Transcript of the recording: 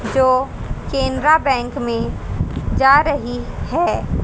जो कैनरा बैंक में जा रही है।